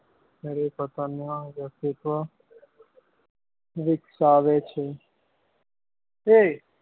અને પોતાના વ્યક્તિત્વ વિકસાવે છે એ